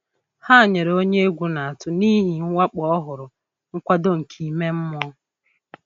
Ha nyere onye egwu na-atụ n'ihi mwakpo ọhụrụ nkwado nke ime mmụọ.